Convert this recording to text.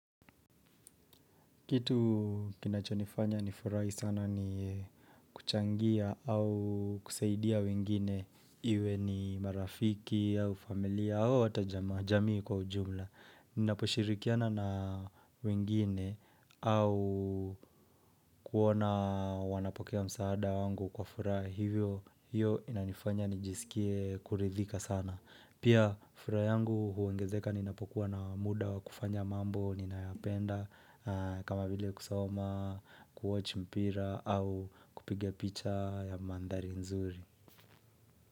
Kitu kinacho nifanya ni furahi sana ni kuchangia au kusaidia wengine iwe ni marafiki au familia au hata jamaa jamii kwa ujumla. Ninaposhirikiana na wengine au kuona wanapokea msaada wangu kwa furaha hivyo hivo inanifanya nijisikie kuridhika sana. Pia furaha yangu huongezeka ninapokuwa na muda wa kufanya mambo ninayapenda kama vile kusoma, ku watch mpira au kupiga picha ya mandhari nzuri.